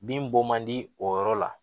Bin bɔ man di o yɔrɔ la